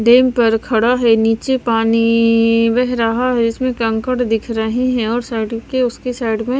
dam पर खड़ा है नीचे पानी इइ बह रहा है इसमें कंकड़ दिख रहे हैं और साइड के उसके साइड में--